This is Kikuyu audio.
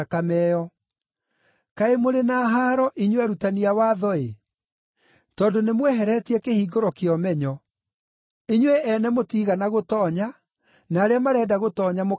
“Kaĩ mũrĩ na haaro inyuĩ arutani a watho-ĩ! Tondũ nĩmweheretie kĩhingũro kĩa ũmenyo. Inyuĩ ene mũtiigana gũtoonya, na arĩa marenda gũtoonya mũkamagiria.”